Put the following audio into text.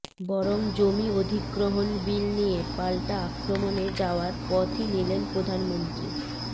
বরং জমি অধিগ্রহণ বিল নিয়ে পাল্টা আক্রমণে যাওয়ার পথই নিলেন প্রধানমন্ত্রী